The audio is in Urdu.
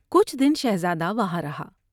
کچھ دن شہزادہ وہاں رہا ۔